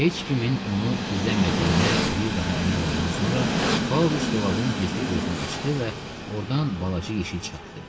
Heç kimin onu izləmədiyinə bir daha əmin olandan sonra Pauloviç dolabın gizli gözünü açdı və ordan balaca yeşik çıxartdı.